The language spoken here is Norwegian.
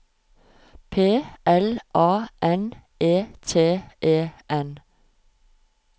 P L A N E T E N